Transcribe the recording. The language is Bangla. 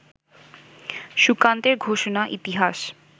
সুকান্তের ঘোষণা, ইতিহাস